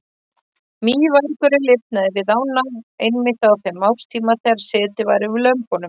Mývargurinn lifnaði við ána einmitt á þeim árstíma þegar setið var yfir lömbunum.